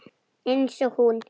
Einsog hún.